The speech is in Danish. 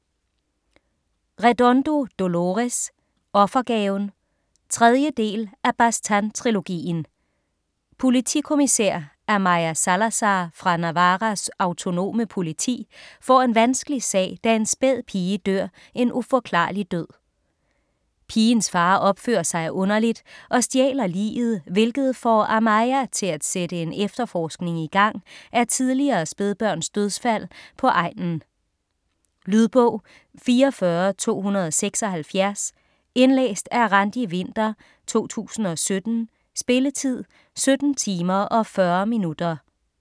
Redondo, Dolores: Offergaven 3. del af Baztán-trilogien. Politikommissær Amaia Salazar fra Navarras autonome politi får en vanskelig sag, da en spæd pige dør en uforklarlig død. Pigens far opfører sig underligt og stjæler liget, hvilket får Amaia til at sætte en efterforskning igang af tidligere spædbørns dødsfald på egnen. Lydbog 44276 Indlæst af Randi Winther, 2017. Spilletid: 17 timer, 40 minutter.